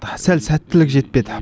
сәл сәттілік жетпеді